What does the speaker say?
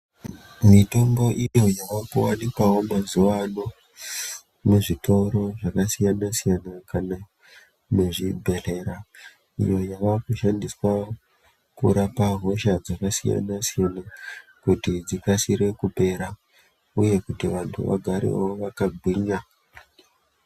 Mitombo iyo yaakuwanikwawo mazuwa ano muzvitoro zvakasiyana- siyana, kana muzvibhedhlera iyo yavakushandiswawo kurapa hosha dzakasiyana- siyana, kuti dzikasire kupera uye kuti vantu vagarewo vakagwinya.